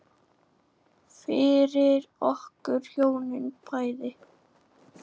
Fyrir okkur hjónin bæði.